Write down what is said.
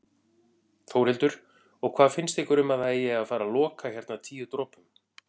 Þórhildur: Og hvað finnst ykkur um að það eigi að fara loka hérna Tíu dropum?